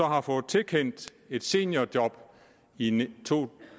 har fået tilkendt et seniorjob i to